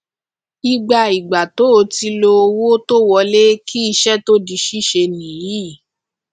ìgbà ìgbà tó ti lọ owó tó wọlé kí iṣẹ tó di síse nìyí